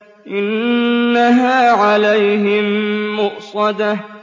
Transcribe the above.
إِنَّهَا عَلَيْهِم مُّؤْصَدَةٌ